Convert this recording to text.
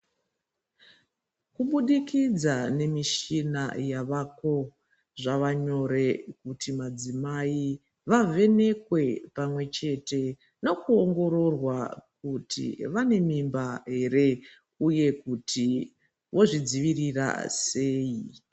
Kubudikidza nemishina yavako zvava nyore kuti madzimai vavhenekwe pamwe chete nokuongororwa kuti vane mimba ere uye kuti vozvidzivirira sei.